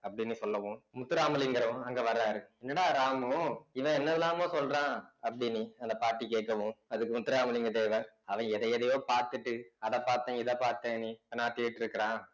அப்படின்னு சொல்லவும் முத்துராமலிங்கரும் அங்க வர்றாரு என்னடா ராமு இவன் என்னெல்லாமோ சொல்றான் அப்படின்னி அந்த பாட்டி கேக்கவும் அதுக்கு முத்துராமலிங்க தேவர் அவன் எதை எதையோ பார்த்துட்டு அத பார்த்தேன் இத பார்த்தேன்னு பெனாத்திட்டிருக்கிறான்